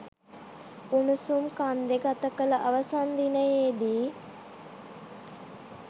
උණුසුම් කන්දේ ගත කළ අවසන් දිනයේ දී